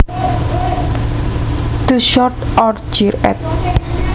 To shout or jeer at